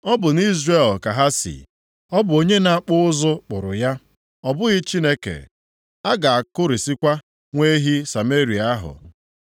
Ọ bụ nʼIzrel ka ha si. Ọ bụ onye na-akpụ ụzụ kpụrụ ya; ọ bụghị Chineke. A ga-akụrisikwa nwa ehi Sameria ahụ.